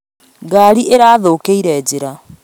Ngari ĩrathũkĩire njĩra